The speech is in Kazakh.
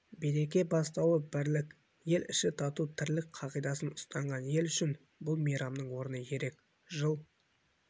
береке бастауы бірлік ел іші тату тірлік қағидасын ұстанған ел үшін бұл мейрамның орны ерек жыл